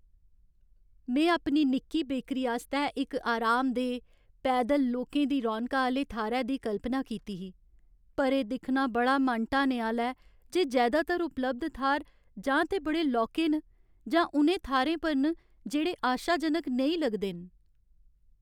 में अपनी निक्की बेकरी आस्तै इक आरामदेह्, पैदल लोकें दी रौनका आह्‌ले थाह्रै दी कल्पना कीती ही, पर एह् दिक्खना बड़ा मन ढाने आह्‌ला ऐ जे जैदातर उपलब्ध थाह्र जां ते बड़े लौह्के न जां उ'नें थाह्रें पर न जेह्ड़े आशाजनक नेईं लगदे न।